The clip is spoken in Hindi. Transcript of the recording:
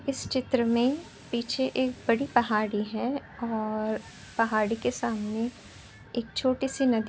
इस चित्र मे पीछे एक बड़ी पहाड़ी हैं और पहाड़ी के सामने एक छोटी सी नदी --